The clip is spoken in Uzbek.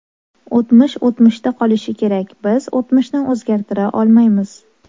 O‘tmish o‘tmishda qolishi kerak, biz o‘tmishni o‘zgartira olmaymiz.